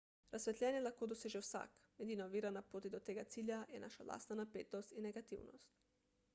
razsvetljenje lahko doseže vsak edina ovira na poti do tega cilja je naša lastna napetost in negativnost